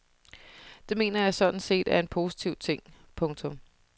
Det mener jeg sådan set er en positiv ting. punktum